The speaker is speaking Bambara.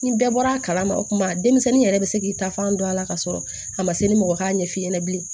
Ni bɛɛ bɔra a kalama o kuma denmisɛnnin yɛrɛ bi se k'i ta fan don a la ka sɔrɔ a ma se ni mɔgɔ y'a ɲɛf'i ɲɛna bilen